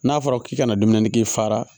N'a fɔra k'i kana dumuni k'i fara